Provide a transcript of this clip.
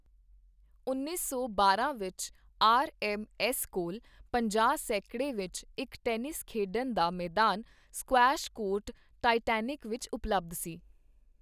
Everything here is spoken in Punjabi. ਉੱਨੀ ਸੌ ਬਾਰਾਂ ਵਿੱਚ, ਆਰ ਐੱਮ ਐੱਸ ਕੋਲ ਪੰਜਾਹ ਸੈਕੜੇ ਵਿੱਚ ਇੱਕ ਟੈਨਿਸ ਖੇਡਣ ਦਾ ਮੈਦਾਨ ਸਕੁਐੱਸ਼ ਕੋਰਟ ਟਾਈਟੈਨਿਕ ਵਿੱਚ ਉਪਲਬਧ ਸੀ।